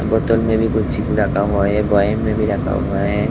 बोतल में भी कुछ चीज रखा हुआ है बॉउल में भी रखा हुआ है।